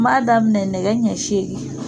N b'a daminɛ nɛgɛ ɲɛ seegin.